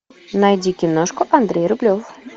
найди киношку андрей рублев